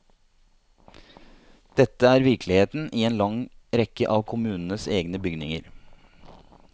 Dette er virkeligheten i en lang rekke av kommunens egne bygninger.